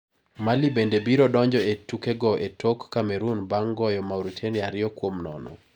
Mali bende biro donjo e tukego e tok Cmeroon bang` goyo Mauritania ariyo kuom nono.